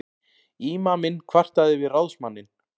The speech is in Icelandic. Ímaminn kvartaði við ráðsmanninn.